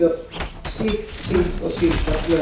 Sýkt síld og síldarflök.